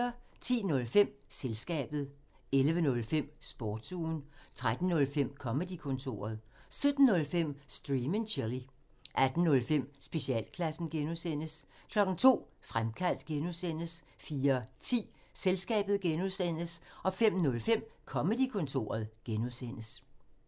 10:05: Selskabet 11:05: Sportsugen 13:05: Comedy-kontoret 17:05: Stream and chill 18:05: Specialklassen (G) 02:00: Fremkaldt (G) 04:10: Selskabet (G) 05:05: Comedy-kontoret (G)